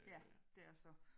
Ja. Det er så